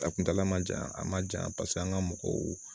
A kuntaala man jan a ma jan paseke an ka mɔgɔw